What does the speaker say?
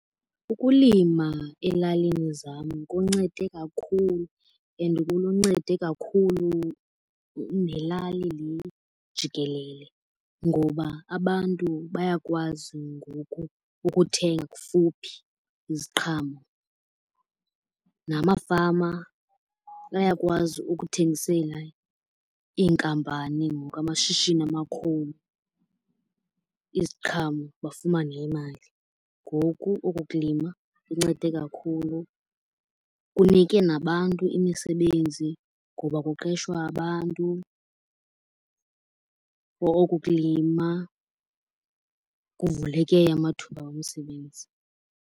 Ukulima elalini zam kuncede kakhulu and kuluncede kakhulu nelali le jikelele. Ngoba abantu bayakwazi ngoku ukuthenga kufuphi iziqhamo. Namafama bayakwazi ukuthengisela iinkampani ngoku, amashishini amakhulu, iziqhamo bafumane imali. Ngoku oku kulima kuncede kakhulu, kunike nabantu imisebenzi ngoba kuqeshwa abantu for oku kulima kuvuleke amathuba omsebenzi.